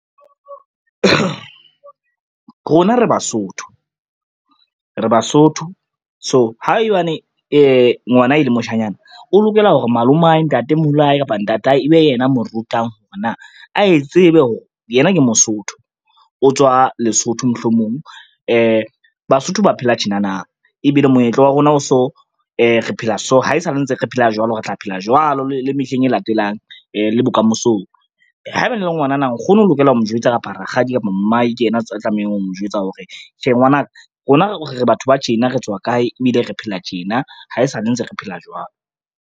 Rona re Basotho, re Basotho so haebane ngwana e le moshanyana, o lokela hore malomae, ntatemoholo wa hae, kapa ntatae ebe yena a mo rutang hore na a e tsebe hore yena ke Mosotho, o tswa Lesotho mohlomong. Basotho ba phela tjenana ebile moetlo wa rona o so, re phela so, ha e sale ntse re phela jwalo, re tla phela jwalo le mehleng e latelang le bokamosong. Haebane e le ngwanana nkgono o lokela ho mo jwetsa, kapa rakgadi, kapa mmae, ke yena a tlamehang ho mo jwetsa hore, tjhe ngwana ka rona re batho ba tjena, re tswa kae, ebile re phela tjena, ha e sale ntse re phela jwalo.